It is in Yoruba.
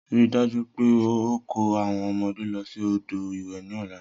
Rii daju pe o ko awọn ọmọde lọ si odo iwe ni ọla!